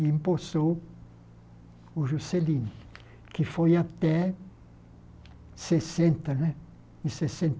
E empossou o Juscelino, que foi até sessenta né, em